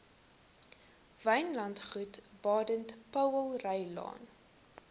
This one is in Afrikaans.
wynlandgoed baden powellrylaan